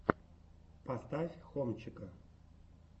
поставь хомчика